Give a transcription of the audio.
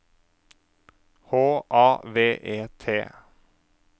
H A V E T